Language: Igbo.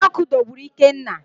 Ụdọ ọkụ dọgburu Ikenna